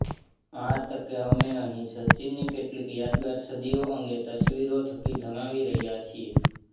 આ તકે અમે અહીં સચિનની કેટલીક યાદગાર સદીઓ અંગે તસવીરો થકી જણાવી રહ્યાં છીએ